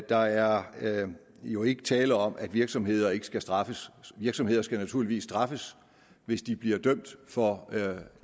der er jo ikke tale om at virksomheder ikke skal straffes virksomheder skal naturligvis straffes hvis de bliver dømt for